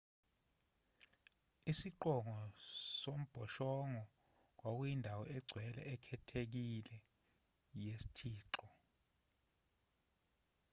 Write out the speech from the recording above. isiqongo sombhoshongo kwakuyindawo engcwele ekhethekile yesithixo